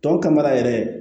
Tɔw ka mara yɛrɛ